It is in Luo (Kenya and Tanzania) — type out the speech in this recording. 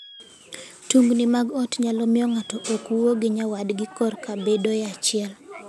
Tungni mag ot nyalo miyo ng'ato ok wuo gi nyawadgi korka bedoe achiel.